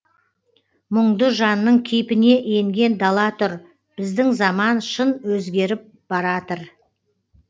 мұңды жанның кейпіне енген дала тұр біздің заман шын өзгеріп баратыр